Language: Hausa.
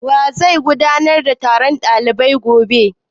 Wa zai gudanar da taron ɗalibai gobe?